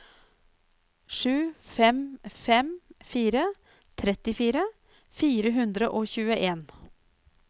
sju fem fem fire trettifire fire hundre og tjueen